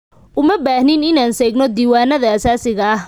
Uma baahnid inaan seegno diiwaanada aasaasiga ah.